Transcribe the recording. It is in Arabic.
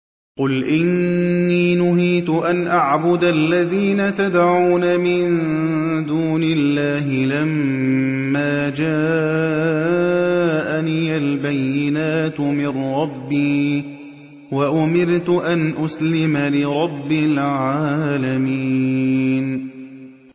۞ قُلْ إِنِّي نُهِيتُ أَنْ أَعْبُدَ الَّذِينَ تَدْعُونَ مِن دُونِ اللَّهِ لَمَّا جَاءَنِيَ الْبَيِّنَاتُ مِن رَّبِّي وَأُمِرْتُ أَنْ أُسْلِمَ لِرَبِّ الْعَالَمِينَ